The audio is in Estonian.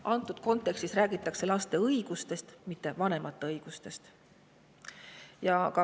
Antud kontekstis räägitakse laste õigustest, mitte vanemate õigustest.